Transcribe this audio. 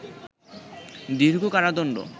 দীর্ঘ কারাদণ্ড